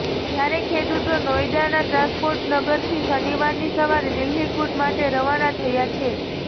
જ્યારે ખેડૂત નોએડાના ટ્રાન્સપોર્ટ નગરથી શનિવારની સવારે દિલ્હી કૂટ માટે રવાના થયા છે